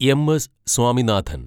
M S Swaminathan